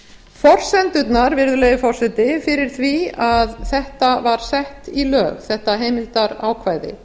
forsendurnar virðulegi forseti fyrir því að þetta var sett í lög þetta heimildarákvæði